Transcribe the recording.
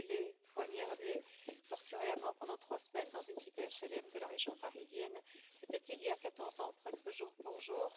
Brûlé, poignardé, torturé à mort pendant trois semaines dans une cité HLM de la région parisienne. C'était il y a 14 ans, presque jour pour jour.